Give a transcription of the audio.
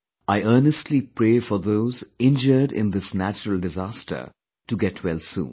I earnestly pray for those injured in this natural disaster to get well soon